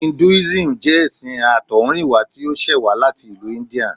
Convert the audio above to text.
Induísímù jẹ́ ẹṣin àtọ̀húnrìnwá tí ó ṣẹ̀ wá láti ìlú India